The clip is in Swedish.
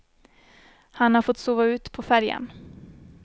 Han har fått sova ut på färjan.